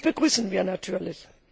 Das begrüßen wir natürlich.